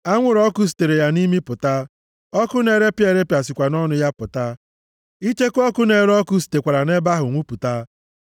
Anwụrụ ọkụ sitere ya nʼimi pụta, ọkụ na-erepịa erepịa sikwa nʼọnụ ya pụta; icheku ọkụ na-ere ọkụ sitekwara nʼebe ahụ nwupụta.